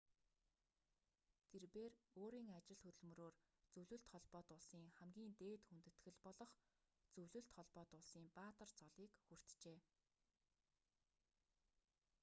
тэрбээр өөрийн ажил хөдөлмөрөөр зөвлөлт холбоот улсын хамгийн дээд хүндэтгэл болох зөвлөлт холбоот улсын баатар цолыг хүртжээ